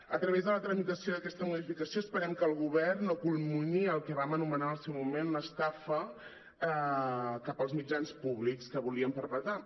a través de la tramitació d’aquesta modificació esperem que el govern no culmi·ni el que vam anomenar en el seu moment l’estafa cap als mitjans públics que volien perpetrar